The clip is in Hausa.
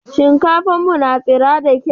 Shinkafan mu tsira da kyau.